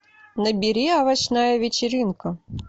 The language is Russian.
набери овощная вечеринка